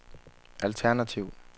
alternativ